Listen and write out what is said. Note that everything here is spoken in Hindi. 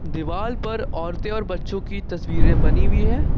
दिवाल पर औरते और बच्चों की तस्वीरें बनी हुई है।